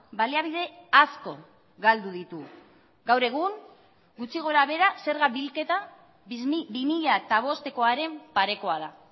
baliabide asko galdu ditu gaur egun gutxi gorabehera zerga bilketa bi mila bostekoaren parekoa da